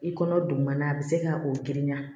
I kɔnɔ dugumana a bɛ se ka o girinya